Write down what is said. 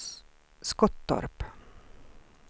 Skottorp